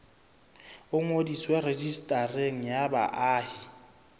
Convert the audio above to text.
o ngodiswe rejistareng ya baahi